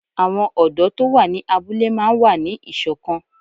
Àwọn ọ̀dọ́ tó wà ní abúlé máa n wà ní ìṣọ̀kan